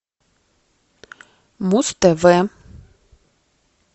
муз тв